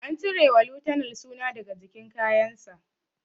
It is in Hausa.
An cire wa lieutenant suna daga jikin kayan sa